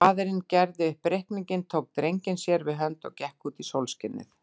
Faðirinn gerði upp reikninginn, tók drenginn sér við hönd og gekk út í sólskinið.